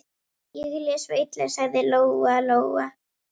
Ég les svo illa, sagði Lóa-Lóa.